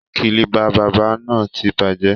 kílíbà bàbá náà ti bàjẹ́